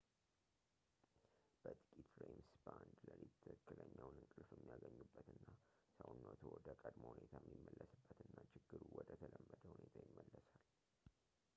በጥቂት ሬምስ በአንድ ሌሊት ትክክለኛውን እንቅልፍ የሚያገኙበት እና ሰውነትዎ ወደ ቀድሞ ሁኔታቸው የሚመለስበት እና ችግሩ ወደ ተለመደ ሁኔታ ይመለሳል